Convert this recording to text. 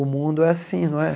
O mundo é assim, não é?